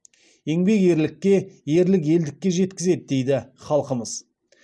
еңбек ерлікке ерлік елдікке жеткізеді дейді халқымыз